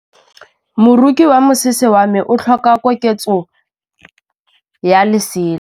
Moroki wa mosese wa me o tlhoka koketsô ya lesela.